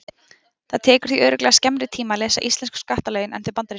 Það tekur því örugglega skemmri tíma að lesa íslensku skattalögin en þau bandarísku.